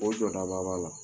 O jɔdaba b'a la